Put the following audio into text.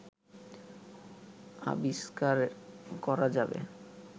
আবিষ্কার করা যাবে